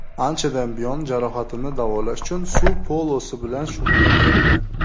Anchadan buyon jarohatimni davolash uchun suv polosi bilan shug‘ullanyapman.